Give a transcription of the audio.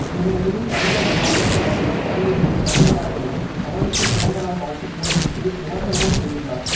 இந்த நிலையில் தமிழக பாஜக தலைவர் தமிழிசை செளந்தரராஜனும் கமலுக்கு பிறந்த நாள் வாழ்த்து கூறிவிட்டு விமர்சனமும் செய்துள்ளார்